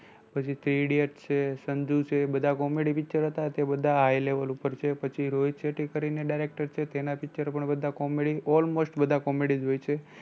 પછી three idiots છે, સંધું છે બધા comedy picture હતા તે બધા high level ઉપર છે પછી રોહિત શેટ્ટી કરી ને director છે તેના picture પણ બધા comedy almost બધા comedy જ હોય છે.